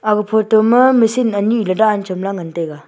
aga photo ma machine anyi la dan chamla ngan taiga.